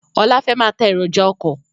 Ọlá fẹ́ máa tá èròjà ọkọ̀